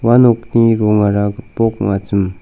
ua nokni rongara gipok ong·achim.